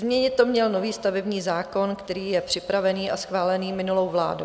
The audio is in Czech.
Změnit to měl nový stavební zákon, který je připravený a schválený minulou vládou.